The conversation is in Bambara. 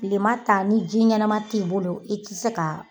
Tilema ta ni ji ɲɛnama t'i bolo i ti se ka.